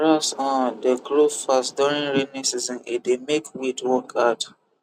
grass um dey grow fast during rainy season e dey make weed work hard